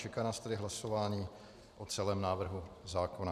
Čeká nás tedy hlasování o celém návrhu zákona.